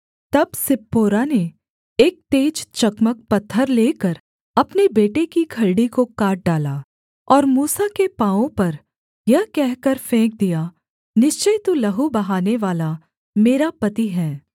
तब सिप्पोरा ने एक तेज चकमक पत्थर लेकर अपने बेटे की खलड़ी को काट डाला और मूसा के पाँवों पर यह कहकर फेंक दिया निश्चय तू लहू बहानेवाला मेरा पति है